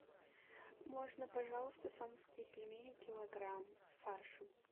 можно пожалуйста сомские пельмени килограмм с фаршем